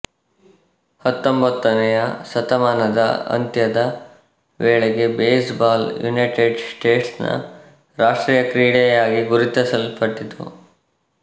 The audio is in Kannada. ಹತ್ತೊಂಬತ್ತನೆಯ ಶತಮಾನದ ಅಂತ್ಯದ ವೇಳೆಗೆ ಬೇಸ್ ಬಾಲ್ ಯುನೈಟೆಡ್ ಸ್ಟೇಟ್ಸ್ ನ ರಾಷ್ಟ್ರೀಯ ಕ್ರೀಡೆಯಾಗಿ ಗುರುತಿಸಲ್ಪಟ್ಟಿತು